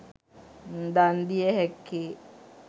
දන්දිය හැක්කේ.